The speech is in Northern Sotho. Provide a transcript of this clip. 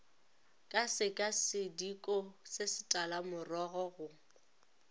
ka sekasediko se setalamorogo go